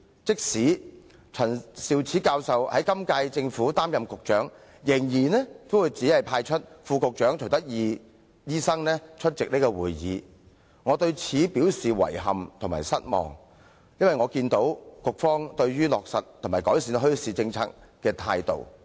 即使陳教授在今屆政府擔任局長，也仍然只是派出副局長徐德義醫生出席會議，我對此表示遺憾及失望，因為我看到局方對於落實及改善墟市政策的態度。